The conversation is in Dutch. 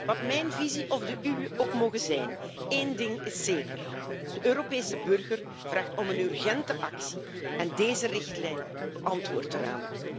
Wat mijn visie of de uwe ook moge zijn, één ding is zeker de Europese burger vraagt om een urgente actie en deze richtlijn beantwoordt daaraan.